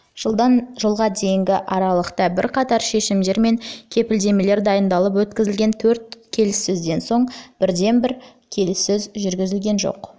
жылдан жылға дейінгі аралықта бірқатар шешімдер мен кепілдемелер дайындалып өткізілген төрт келіссөзден соң бірде бір келіссөз жүргізген жоқ